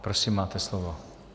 Prosím, máte slovo.